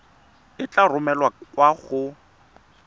e tla romelwa kwa go